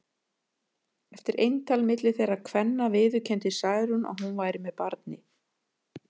Eftir eintal milli þeirra kvenna viðurkenndi Særún að hún væri með barni.